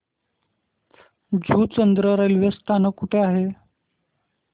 Juchandra railway स्थानक कुठे आहे